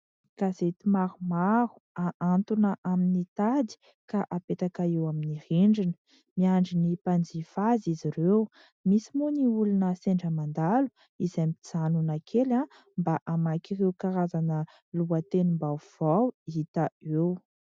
Gazety maromaro ahatona amin'ny tady ka apetaka eo amin'ny rindrina, miandry ny mpanjifa azy izy ireo, misy moa ny olona sendra mandalo izay mijanona kely mba hamaky ireo karazana lohatenim-baovao hita eo.